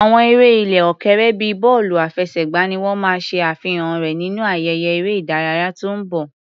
Àwọn eré ilẹ̀ òkèèrè bíi bọ́ọ̀lù àfẹsẹ̀gbá ni wọ́n máa ṣe àfihàn rẹ̀ nínú ayẹyẹ eré ìdárayá tó ń bọ̀.